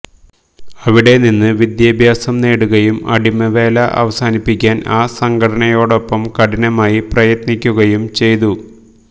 അവിടെനിന്ന് വിദ്യാഭ്യാസം നേടുകയും അടിമവേല അവസാനിപ്പിക്കാൻ ആ സംഘടനയോടൊപ്പം കഠിനമായി പ്രയത്നിക്കുകയും ചെയ്തു